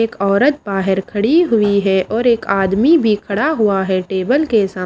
एक औरत बाहर खड़ी हुई है और एक आदमी भी खड़ा हुआ है टेबल के साथ --